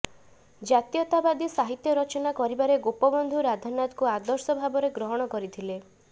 ଜାତୀୟତାବାଦୀ ସାହିତ୍ୟ ରଚନା କରିବାରେ ଗୋପବନ୍ଧୁ ରାଧାନାଥଙ୍କୁ ଆଦର୍ଶ ଭାବରେ ଗ୍ରହଣ କରିଥିଲେ